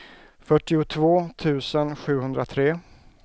fyrtiotvå tusen sjuhundratre